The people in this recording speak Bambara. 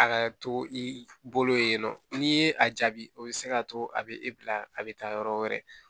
A ka to i bolo yen nɔ n'i ye a jaabi o bɛ se k'a to a bɛ e bila a bɛ taa yɔrɔ wɛrɛ